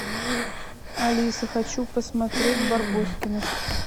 алиса хочу посмотреть барбоскиных